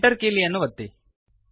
Enter ಕೀಲಿಯನ್ನು ಒತ್ತಿರಿ